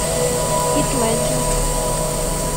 хит леджер